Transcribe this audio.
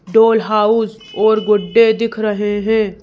Doll house और गुड्डे दिख रहे हैं।